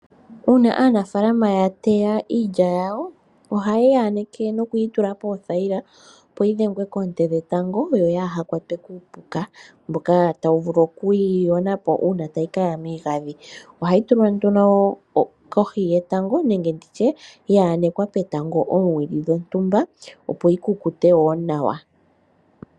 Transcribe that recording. Uuna aanafaalama yateya iilya yawo ohayeyi aneke nokuyitula poothayila opo yidhengwe koonte dhetango yo kayi kwatwe kuupuka mboka tawu vulu okuyiyonapo uuna tayi Kaya miigandhi . Ohayi tulwa nduno kohi yetango nenge ya enekwa petango oowili dhontumba opo yikukute nawa.